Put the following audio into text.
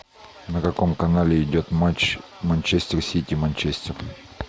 на каком канале идет матч манчестер сити манчестер